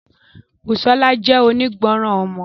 Busola jẹ́ onígbọràn ọmọ.